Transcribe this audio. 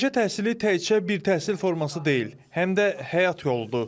Peşə təhsili təkcə bir təhsil forması deyil, həm də həyat yoludur.